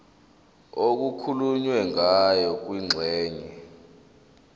okukhulunywe ngayo kwingxenye